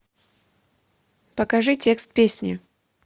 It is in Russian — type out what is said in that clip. покажи текст песни